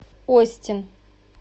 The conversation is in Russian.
остин